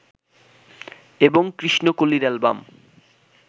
এবং কৃষ্ণকলির অ্যালবাম